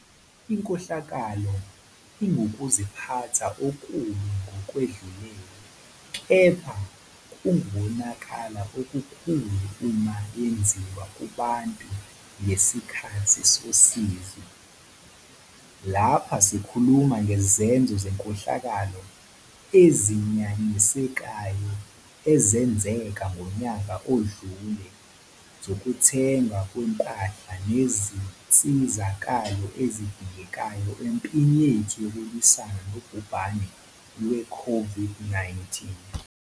Inkohlakalo ingukuziphatha okubi ngokwedlulele, kepha kungukonakala okukhulu uma yenziwa kubantu ngesikhathi sosizi. Lapha sikhuluma ngezenzo zenkohlakalo ezinyanyekayo ezenzeka ngonyaka owedlule zokuthengwa kwezimpahla nezinsizakalo ezidingekayo empini yethu yokulwisana nobhubhane lwe-COVID-19.